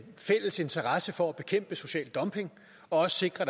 fælles interesse for at bekæmpe social dumping og også sikre